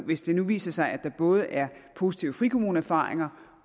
hvis det nu viser sig at der både er positive frikommuneerfaringer